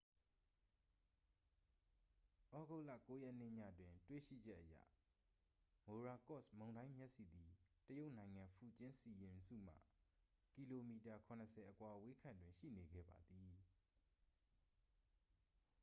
သြဂုတ်လ 9 ရက်နေ့ညတွင်တွေ့ရှိချက်အရ မိုရာကော့စ် မုန်တိုင်းမျက်စိသည် တရုတ်နိုင်ငံ ဖူကျင်းစီရင်စုမှ ကီလိုမီတာ ခုနစ်ဆယ် အကွာအဝေးခန့်တွင် ရှိနေခဲ့ပါသည်